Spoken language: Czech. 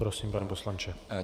Prosím, pane poslanče.